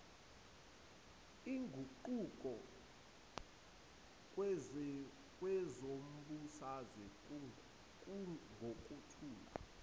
iguquko kwezombusazwe ngokuthula